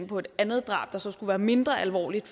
på et andet drab der så skulle være mindre alvorligt